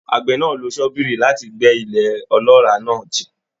Àgbẹ̀ náà lo ṣọ́bìrì láti gbẹ́ ilẹ̀ ọlọ́ràá náà jìn.